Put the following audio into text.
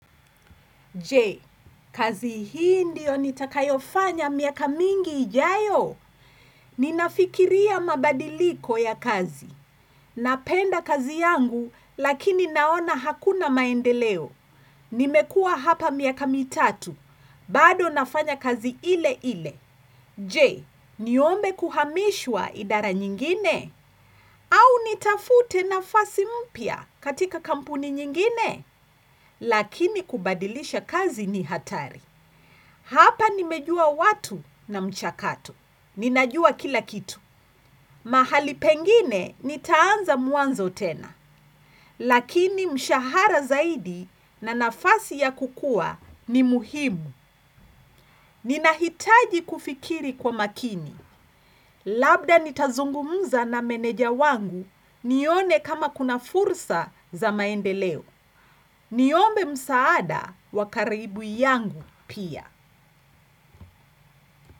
Je, kazi hii ndio nitakayofanya miaka mingi ijayo. Ninafikiria mabadiliko ya kazi. Napenda kazi yangu lakini naona hakuna maendeleo. Nimekua hapa miaka mitatu. Bado nafanya kazi ile ile. Je, niombe kuhamishwa idara nyingine? Au nitafute nafasi mpya katika kampuni nyingine? Lakini kubadilisha kazi ni hatari. Hapa nimejua watu na mchakato. Ninajua kila kitu. Mahali pengine nitaanza mwanzo tena. Lakini mshahara zaidi na nafasi ya kukua ni muhimu. Ninahitaji kufikiri kwa makini. Labda nitazungumza na meneja wangu nione kama kuna fursa za maendeleo. Niombe msaada wa karibu yangu pia.